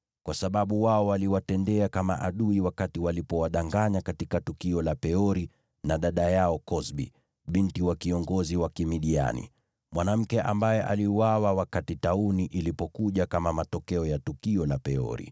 kwa sababu wao waliwatendea kama adui wakati waliwadanganya katika tukio la Peori na dada yao Kozbi, binti wa kiongozi wa Kimidiani, mwanamke ambaye aliuawa wakati tauni ilikuja kama matokeo ya tukio la Peori.”